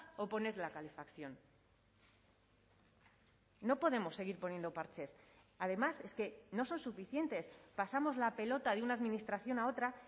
o poner la calefacción no podemos seguir poniendo parches además es que no son suficientes pasamos la pelota de una administración a otra